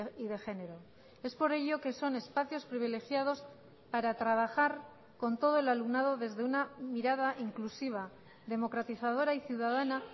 y de género es por ello que son espacios privilegiados para trabajar con todo el alumnado desde una mirada inclusiva democratizadora y ciudadana